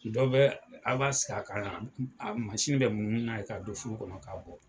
Dɔw bɛ aw b'a sigi kan yan bɛ munumunu n'a ye, ka a don kɔnɔ k'a bɔ